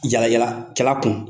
yaala yaala kɛla kun.